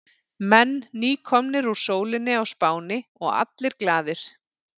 Menn nýkomnir úr sólinni á Spáni og allir glaðir.